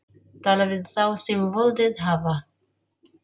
Tala við þá sem völdin hafa.